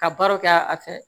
Ka baaraw kɛ a fɛ